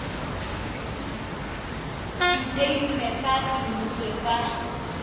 setei ene sa semmuso sa